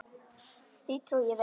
Því trúi ég vel.